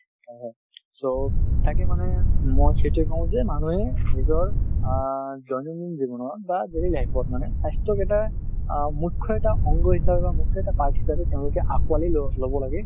অ so তাকে মানে মই এইটোৱেই কওঁ যে নিজৰ অ দৈনন্দিন জীৱনৰ বা daily life ত মানে স্বাস্থ্যক এটা অ মুখ্য এটা অংগ হিচাপে বা মুখ্য এটা part হিচাপে তেওঁলোকে আঁকোৱালি ল লব লাগে ।